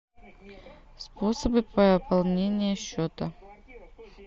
способы пополнения счета